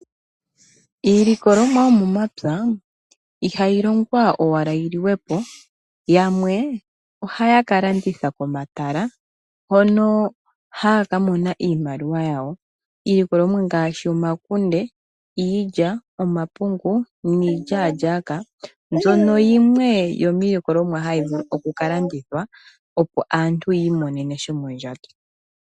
Iilikolomwa yomomapya ihayi longwanowala yiliwe po yamwe ohaya kalanditha pomatala hono haya ka mona iimaliwa yawo, iilikolomwa ngaashi omakunde, iilya, omapungu niilyaalyaaka yimwe yomiilikolomwa hayi vulu oku kalandithwa opo aantu yi imonene sha shomondjato.